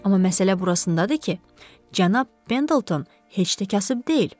Amma məsələ burasındadır ki, cənab Pendleton heç də kasıb deyil.